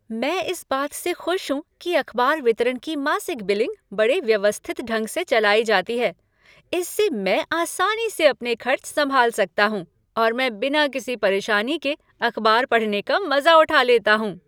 मैं इस बात से खुश हूँ कि अखबार वितरण की मासिक बिलिंग बड़ी व्यवस्थित ढंग से चलाई जाती है। इससे मैं आसानी से अपने खर्च संभाल सकता हूँ और मैं बिना किसी परेशानी के अखबार पढ़ने का मजा उठा लेता हूँ।